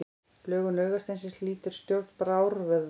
Lögun augasteinsins lýtur stjórn brárvöðva.